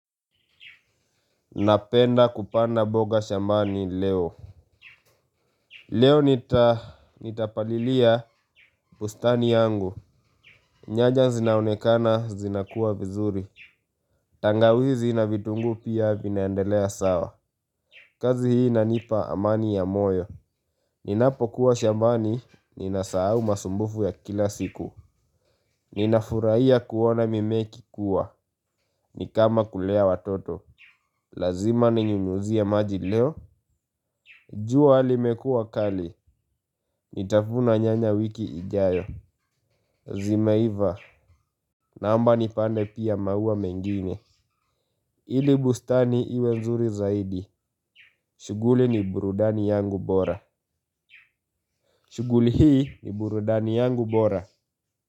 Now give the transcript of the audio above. Napenda kupanda boga shambani leo. Leo nitapalilia bustani yangu. Nyanya zinaonekana zinakuwa vizuri. Tangawizi na vitungu pia vinaendelea sawa. Kazi hii inanipa amani ya moyo. Ninapo kuwa shambani, ninasau masumbufu ya kila siku. Ninafuraia kuona mime ikikuwa, nikama kulea watoto. Lazima ninyunyuzia maji leo. Jua limekuwa kali. Nitavuna nyanya wiki ijayo. Zimeiva. Naomba nipande pia maua mengine. Ili bustani iwe mzuri zaidi shughuli ni burudani yangu bora. Shuguli hii ni burudani yangu bora.